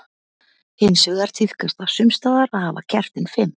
Hins vegar tíðkast það sums staðar að hafa kertin fimm.